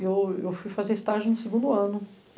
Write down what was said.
Eu, eu fui fazer estágio no segundo ano.